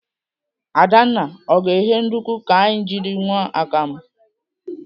Adanna, ọ ga-eghe nduku ka anyị jiri ṅụọ akam?